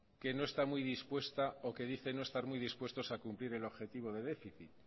que no está muy dispuesta o que dice no estar muy dispuestos a cumplir el objetivo de déficit